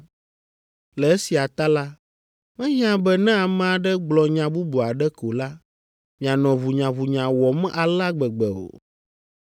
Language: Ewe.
Le esia ta la, mehiã be ne ame aɖe gblɔ nya bubu aɖe ko la, mianɔ ʋunyaʋunya wɔm alea gbegbe o.